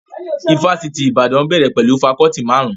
Ifásitì Ìbàdàn bẹ̀rẹ̀ pẹ̀lú fakọọti marun-un